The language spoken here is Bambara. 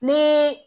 Ni